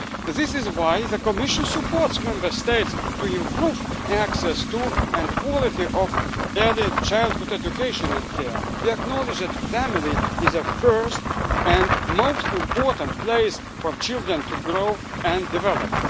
This is why the Commission supports Member States in improving access to, and the quality of, early childhood education and care. We acknowledge that family is the first and most important place for children to grow and develop.